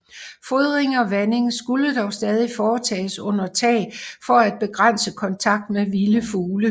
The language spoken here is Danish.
Fodring og vanding skulle dog stadig foretages under tag for at begrænse kontakt med vilde fugle